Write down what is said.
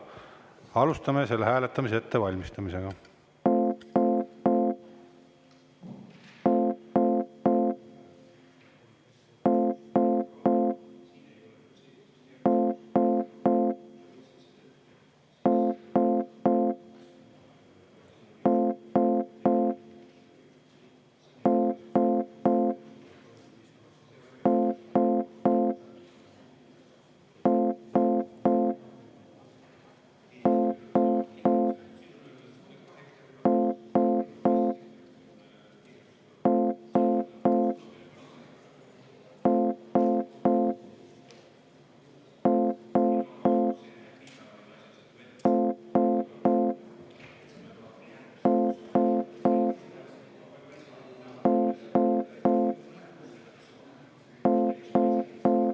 Alustame selle hääletamise ettevalmistamisega.